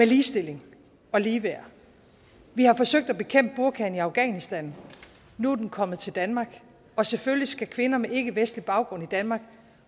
ligestilling og ligeværd vi har forsøgt at bekæmpe burkaen i afghanistan nu er den kommet til danmark og selvfølgelig skal kvinder med ikkevestlig baggrund i danmark